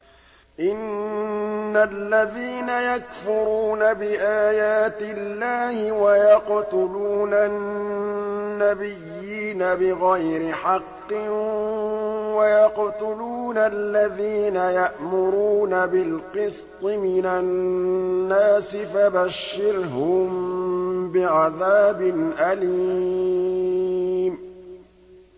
إِنَّ الَّذِينَ يَكْفُرُونَ بِآيَاتِ اللَّهِ وَيَقْتُلُونَ النَّبِيِّينَ بِغَيْرِ حَقٍّ وَيَقْتُلُونَ الَّذِينَ يَأْمُرُونَ بِالْقِسْطِ مِنَ النَّاسِ فَبَشِّرْهُم بِعَذَابٍ أَلِيمٍ